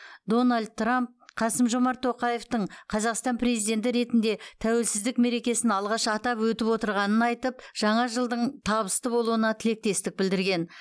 дональд трамп қасым жомарт тоқаевтың қазақстан президенті ретінде тәуелсіздік мерекесін алғаш атап өтіп отырғанын айтып жаңа жылдың табысты болуына тілектестік білдірген